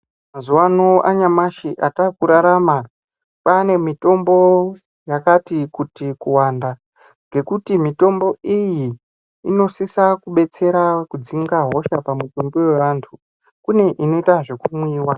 Mazuva ano anyamashi atakurarama kwaane mitombo yakati kuti kuwanda ngekuti mutombo iyi inosisa kudetsera kudzinga hosha pamutumbi yavantu kune imwe inoita zvekumwiwa.